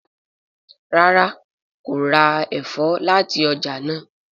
ràrá kò rá èfó láti ọjà náa.